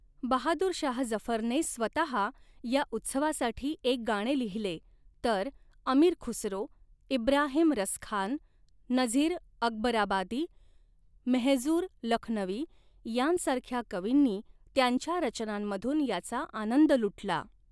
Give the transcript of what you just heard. बहादूर शाह जफरने स्वतहा या उत्सवासाठी एक गाणे लिहिले, तर अमीर खुसरो, इब्राहिम रसखान, नझीर अकबराबादी, मेहजूर लखनवी यांसारख्या कवींनी त्यांच्या रचनांमधून याचा आनंद लुटला.